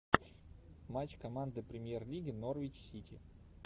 матч команды премьер лиги норвич сити